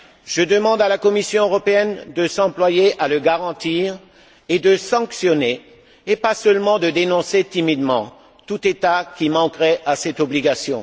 Je demande à la Commission européenne de s'employer à le garantir et de sanctionner, et pas seulement de dénoncer timidement tout État qui manquerait à cette obligation.